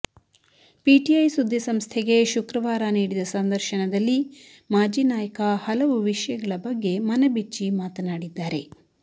PTI ಸುದ್ದಿ ಸಂಸ್ಥೆಗೆ ಶುಕ್ರವಾರ ನೀಡಿದ ಸಂದರ್ಶನದಲ್ಲಿ ಮಾಜಿ ನಾಯಕ ಹಲವು ವಿಷಯಗಳ ಬಗ್ಗೆ ಮನಬಿಚ್ಚಿ ಮಾತನಾಡಿದ್ದಾರೆ